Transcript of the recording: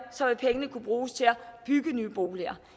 kunne bruges til at bygge nye boliger